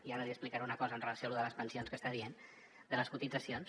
i ara li explicaré una cosa amb relació a lo de les pensions que està dient de les cotitzacions